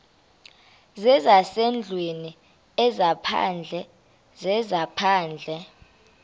zezasendlwini ezaphandle zezaphandle